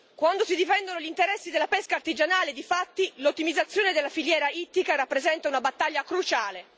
Quando si difendono gli interessi della pesca artigianale, difatti, l'ottimizzazione della filiera ittica rappresenta una battaglia cruciale.